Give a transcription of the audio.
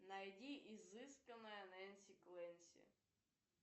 найди изысканная нэнси клэнси